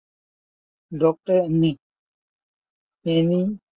doctor